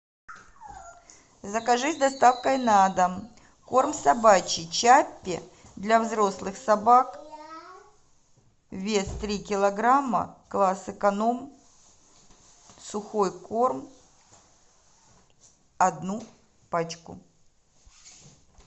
закажи с доставкой на дом корм собачий чаппи для взрослых собак вес три килограмма класс эконом сухой корм одну пачку